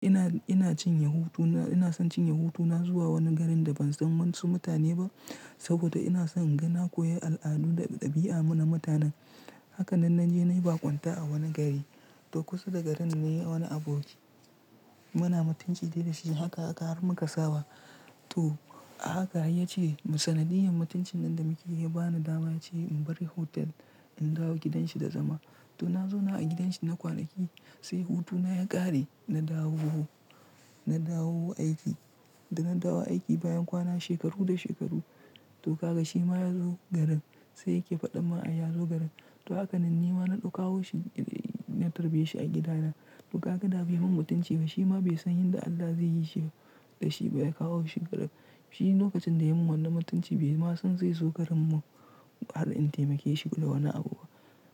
Ina, ina cin hutu, ina son cin hutu na zuwa wani garin da ban san mantse mutane ba saboda ina son inga na koyi al'adu da ɗabi'a na mutanen. Haka nan na je na yi baƙunta a wani gari, to kusa da garin na yi wani aboki. Muna mutunci dai da shi haka aka har muka ka saba. To a haka ya ce sanadiyar mutuncin nan da muke yi bani dama ce in barin hotel in dawo gidanshi da zama. To na zauna a gidanshi na kwanaki sai hutuna ya ƙare na dawo, na dawo aiki da na dawo aiki bayan kwana shekaru da shekaru. To kaga shi ma ya zo garin sai yake faɗa ma ai yazo garin. To haka nan nima na ɗaukawo shi na tarbeshi a gida na. To kaga bai mun mutunci ba shi ma bai san yanda Allah zai yi shi ba da shi baya kawo shi gaba. Shi lokacin da ya mun wannan mutunci bai ma son zai zo garin mu har in taimake shi da wani abu ba.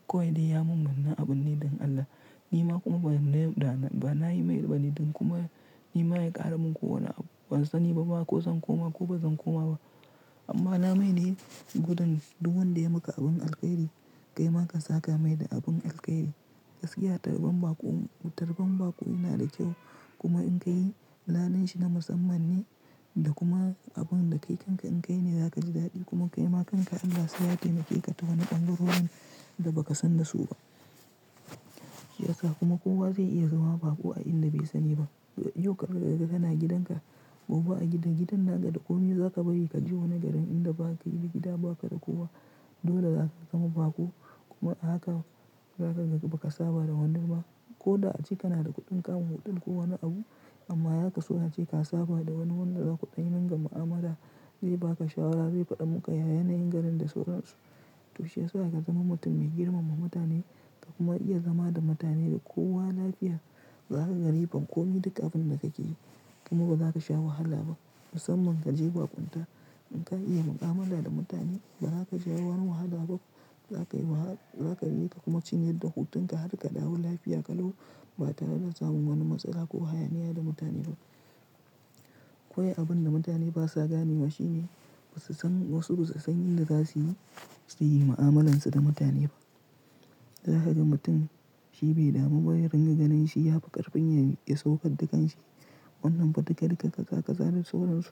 Kawai dai ya mun wannan abun ne don Allah. Nima kuma ba na yi mai bane don kuma nima ya ƙara mun ko wani abu. Ban sani ba ma ko zan koma ko baza koma ba amma na mai ne gudun duk wanda ya maka abin alƙairi kai ma ka saka mai da abin alƙairi. Gaskiya tarban baƙo, tarban baƙo yana da kyau kuma in kai ladan shi na musamman ne da kuma abun da kai kanka in kai ne zaka ji daɗi kuma kai ma kanka Allah sai ya taimake ka ta wani ɗan ruwan da ba ka san da su ba. Yasa kuma kowa zai iya zama baƙo a inda bai sani ba. Yau ka riga-riga kana gidan ka gobe a gidan, gidan na ka da komai za ka bari ka je wani garin inda ba ka yi gida ba ka da kowa dole za ka zama baƙo kuma a haka za kaga ba ka saba da wani ko da a ciki na da kuɗin kama hotal ko wani abu amma ya ka so na je ka saba da wani wanda za ku ɗan ringa ma'amala zai ba ka shawara zai faɗa muka yayyanayin garin da sauransu. To shi yasa ka zama mutum mai girmama mutane ka kuma iya zama da mutane da kowa lafiya za ka ga riban komai duka abin da ka ke yi kuma ba za ka sha wahala ba. Musamman ka je baƙunta in ka iya mu'amala da mutane ba za ka ji wani wahala ba za ka yi wahala za ka riƙe kuma cinye da hutun ka har ka dawo lafiya ƙalau ba tare da samun wani matsala ko hayaniya da mutane ba. Kawai abun da mutane ba sa gane wa shine ba su san wasu ba su san yanda za su yi, su yi mu'amalansu da mutane ba. Zaka ga mutum shi bai damu ba ya ringa ganin shi ya fi ƙarfin ya saukar da kan shi wannan fa dikali kaza ka za sauransu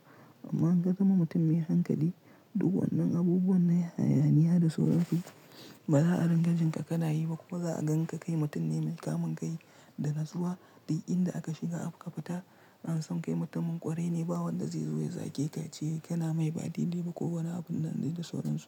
amma in ka zama mutum mai hankali duk wannan abubuwan na hayaniya da sauransu ba za a ringa jin ka kana yi ba kuma za a gan ka kai mutum ne mai kamun kai da na zuwa. Duk inda aka shiga aka fita an san kai mutumin kwarai ne ba wanda zai zo ya zage ka ce kana mai baɗi ne ba ko wani abun da na dai da sauransu.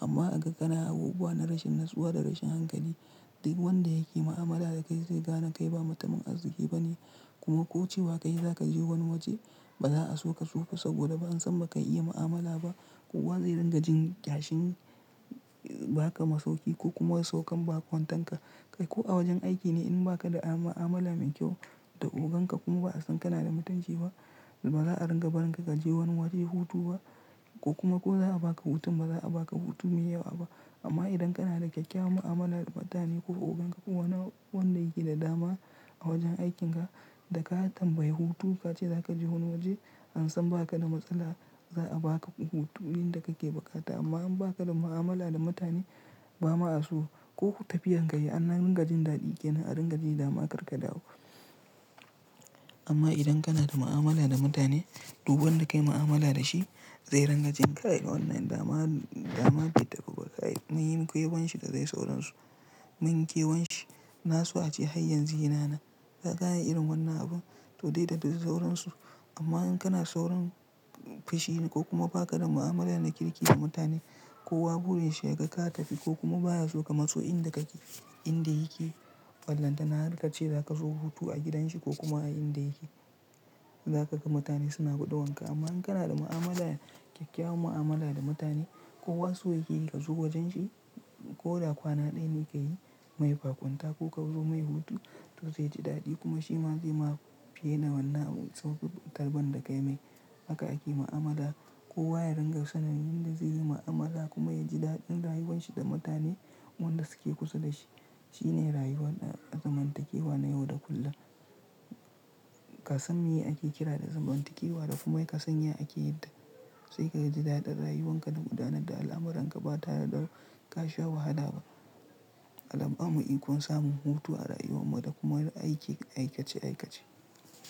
Amma a ga kana abubuwa na rashin natsuwa da rashin hankali duk wanda yake mu'amala da kai zai gane kai ba matumin arziki ba ne kuma ko cewa ka yi za ka je wani waje ba za a so ka kazo ba saboda ba an san ba ka iya mu'amala ba. Kowa zai ringa jin kyashin ba ka masauki ko kuma saukan baƙon tanka kai ko a wajen aiki ne in ba ka da a-a'mala mai kyau da oganka kuma ba a san kana da mutunci ba ba za a ringa barin ka ka je wani waje hutu ba ko kuma ko za a ba ka hutun ba za a ba ka hutu mai yawa ba. Amma idan kana da ƙyakkyawan mu'amala da mutane ko oganka ko wani wanda yake da dama a wajen aikin ka da ka tambayi hutu ka ce za ka je wani waje an san ba ka da matsala za a ba ka hutun ɗin da kake buƙata amma in ba ka da mu'amala da mutane ba ma a so ko tafiyar ka yi an ringa jin daɗi kenan a ringa jin dama karka dawo. Amma idan kana da mu'amala da mutane duk wanda ka yi mu'amala da shi zai ringa jin kai wannan dama, dama bai tafi ba. Kaimunyi kyawan shi da zai sauransu. Mun kewan shi na so a ce hayan zina na. Ya Za ayi irin wannan abun to dai da ba su sauransu amma in kana saurin fushi ko kuma ba ka da mu'amala da kirki da mutane kowa wurin shi ya ga ka tafi ko kuma baya so ka matso inda kake inda yake ballanta na har ka ce za ka so hutu a gidan shi ko kuma a inda yake. Za ka ga mutane suna guduwanka amma in kana da mu'amala ƙyakkyawan mu'amala da mutane kowa so yake ka zo wajen shi ko da kwana ɗaya ne ka yi mai baƙunta ko ka zo mai hutu to zai ji daɗi kuma shi ma zai ma fi yana wannan sauƙin tarban da kai mai. Haka ake mu'amala kowa ya ringa sanin yanda zai yi mu'amala kuma ya ji daɗin rayuwan shi da mutane wanda suke kusa da shi. Shi ne rayuwar zamantakewa na yau da kullum. Ka san me ake kira da zamantakewa da kuma ka san ya ake yin ta sai ka ji daɗin rayuwan ka da gudanar da al'amuran ka ba tare da ka sha wahala ba. Allaj ya ba mu ikon samun hutu a rayuwan mu da kuma aiki aikace aikace.